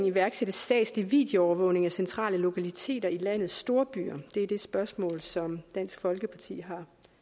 iværksætte statslig videoovervågning af centrale lokaliteter i landets storbyer det er det spørgsmål som dansk folkeparti